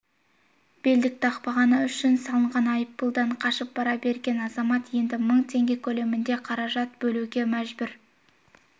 белдік тақпағаны үшін салынған айыппұлдан қашып пара берген азамат енді мың теңге көлемінде қаражат төлеуге мәжбүр